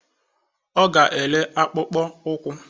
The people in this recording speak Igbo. Ọ ga-ere akpụkpọ ụkwụ